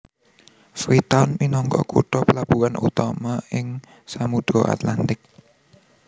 Freetown minangka kutha plabuhan utama ing Samudra Atlantik